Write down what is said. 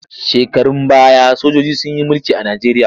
Shekarun baya sojiji sun yi mulki a Najeriya.